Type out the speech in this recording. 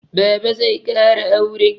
Baba zai ƙara aure.